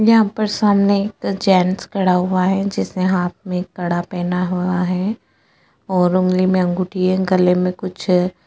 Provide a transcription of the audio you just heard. यहाँ पर सामने एक जेन्स खड़ा हुआ है जिसने हाथ मै कड़ा पहना हुआ है और ऊँगली मै अँगूठी है गले मै कुछ है।